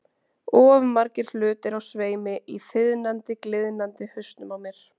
Of margir hlutir á sveimi í þiðnandi, gliðnandi hausnum á mér.